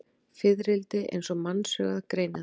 Fiðrildi eins og mannsaugað greinir það.